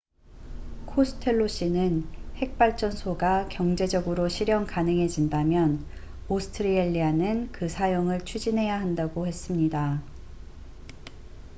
코스텔로 씨는 핵발전소가 경제적으로 실현 가능해진다면 오스트레일리아는 그 사용을 추진해야 한다고 했습니다